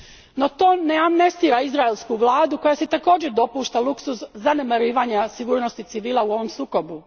No to ne amnestira izraelsku vladu koja si također dopušta luksuz zanemarivanja sigurnosti civila u ovom sukobu.